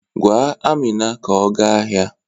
Gwa Amina ka ọ gaa ahịa.